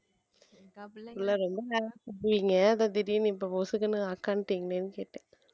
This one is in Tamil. அதான் திடீர்ன்னு இப்ப பொசுக்குன்னு அக்கானிட்டீங்களேன்னு கேட்டேன்